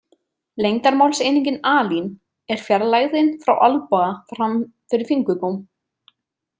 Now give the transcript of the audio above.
Lengdarmálseiningin alin er fjarlægðin frá olnboga fram fyrir fingurgóm.